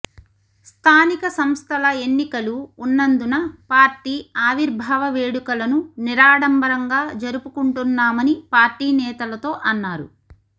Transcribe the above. స్థానిక సంస్థల ఎన్నికలు ఉన్నందున పార్టీ ఆవిర్భావ వేడుకలను నిరాడంబరంగా జరుపుకుంటున్నామని పార్టీ నేతలతో అన్నారు